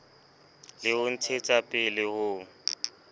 le ho ntshetsapele le ho